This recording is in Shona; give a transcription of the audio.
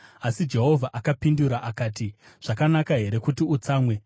Asi Jehovha akapindura akati, “Zvakanaka here kuti utsamwe?”